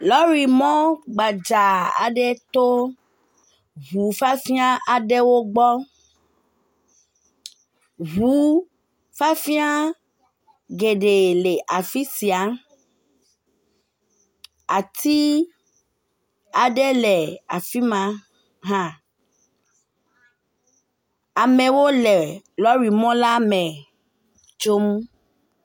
Lori mɔ gbadza aɖe to ŋu fafia aɖe gbɔwo gbɔ, ŋu fiafia geɖe le afi sia, ati aɖe le afi ma hã, amewo le lɔri mɔ la me tsom, lɔri mɔ gbadza aɖe to ŋu fafia aɖewo gbɔ